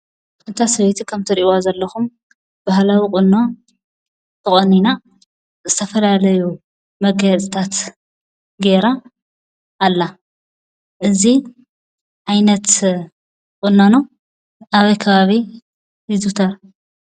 እታ ሰበይቲ ከም እትሪእዋ ዘለኩም ባህላዊ ቁኖ ተቆኒና ዝተፈላለዩ መጋየፅታት ገየራ ኣላ። እዚ ዓይነት ቁናኖ ኣበይ ከባቢ ይዝውተር?